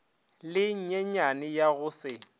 le lenyenyane ya go se